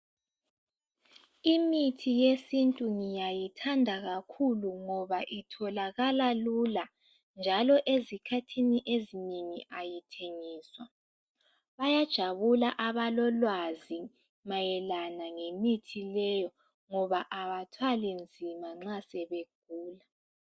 imithi yesintu ngiyayithanda kakhulu ngoba itholakala lula njalo ezikhathini ezinengi ayithengiswa bayajabula abalolwazi mayelana lemithi leyi ngoba abathwali nzima nxasebegula